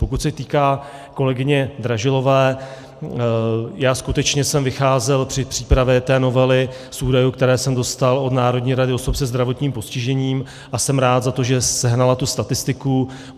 Pokud se týká kolegyně Dražilové, já skutečně jsem vycházel při přípravě té novely z údajů, které jsem dostal od Národní rady osob se zdravotním postižením, a jsem rád za to, že sehnala tu statistiku.